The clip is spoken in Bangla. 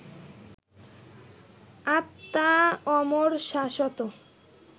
আত্মা অমর, শাশ্বত